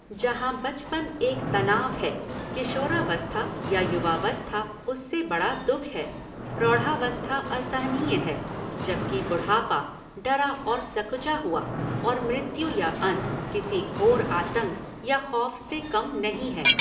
जहाँ बचपन एक तनाव है, किशोरावस्था या युवावस्था उससे बड़ा दुख है, प्रौढ़ावस्था असहनीय है, जबकि बुढ़ापा डरा और सकुचा हुआ और मृत्यु या अंत किसी घोर आतंक या खौफ़ से कम नहीं है।